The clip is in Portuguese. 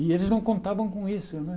E eles não contavam com isso né.